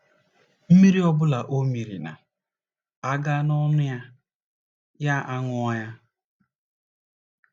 Mmiri ọ bụla ọ mịịrị na - aga n’ọnụ ya, ya aṅụọ ya.